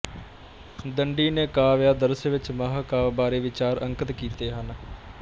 ਦੰਡੀ ਨੇ ਕਾਵਿਆਦਰਸ਼ਵਿੱਚ ਮਹਾਂਕਾਵਿ ਬਾਰੇ ਵਿਚਾਰ ਅੰਕਿਤ ਕੀਤੇ ਹਨ